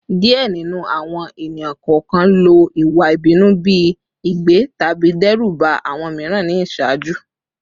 Diẹ ninu awọn ẹni-kọọkan lo iwa ibinu bi igbe tabi dẹruba awọn miiran ni iṣaaju